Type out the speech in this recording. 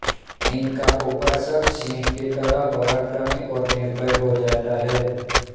इनका उपासक सिंह की तरह पराक्रमी और निर्भय हो जाता है